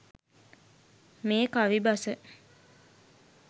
මේ කවි බස